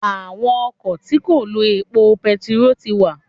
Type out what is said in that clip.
Àwọn ọkọ̀ tí kò lo epo bentiroolu ti wà.